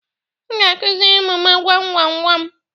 M ga-akụziri ụmụ m gwam gwam gwam.